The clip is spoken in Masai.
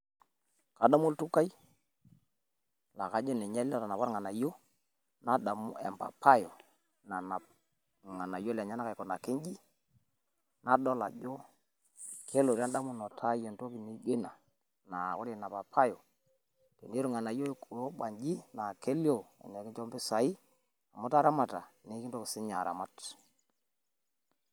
Adamu oltukai laa kajo ninye ele tenaa kolng'anayioi nadamu empapai nanap ilng'anayio lenyenak aikunaki inji. Nadol ajo kelotu e ndamunoto ai entoki naijo ina naa ore Ina papai naa iyiu ilng'anayio oo banji laa kelio tenikincho mpisai amu itaramata, nikintoki sii ninye aramat.